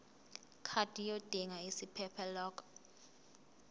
card yodinga isiphephelok